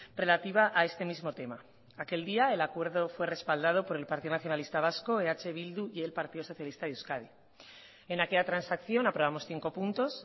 relativa a este mismo tema aquel día el acuerdo fue respaldado por el partido nacionalista vasco eh bildu y el partido socialista de euskadi en aquella transacción aprobamos cinco puntos